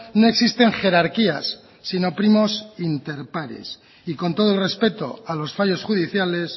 no existen jerarquías sino primos inter pares y con todo el respeto a los fallos judiciales